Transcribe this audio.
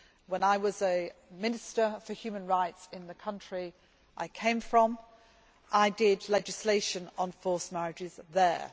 When I was a minister for human rights in the country I came from, I did legislation on forced marriages there.